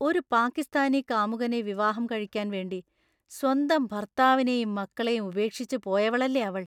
ഒരു പാകിസ്ഥാനി കാമുകനെ വിവാഹം കഴിക്കാൻ വേണ്ടി സ്വന്തം ഭർത്താവിനെയും മക്കളെയും ഉപേക്ഷിച്ച് പോയവളല്ലേ അവൾ!